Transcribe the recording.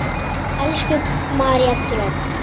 Elsku María Dröfn.